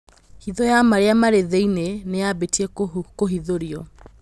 Hitho ya marĩ a marĩ thĩ iniĩ nĩ yabĩ tie kũhithũrio